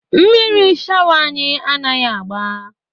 Mmiri shawa anyị anaghị agba.